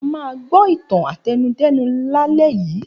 A máa gbọ́ ìtàn àtẹnudẹ́nu lálẹ́ yìí.